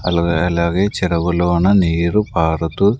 Algae అలాగే చెరువులోన నీరు పారతు.